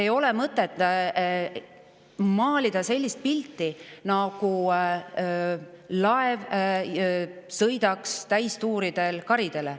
Ei ole mõtet maalida pilti, nagu sõidaks laev täistuuridel karidele.